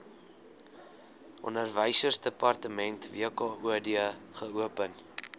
onderwysdepartement wkod geopen